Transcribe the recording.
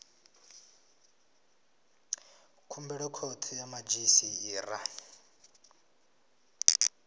khumbelo khothe ya madzhisi ṱira